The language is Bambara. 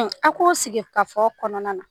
a k'o sigi ka fɔ kɔnɔna na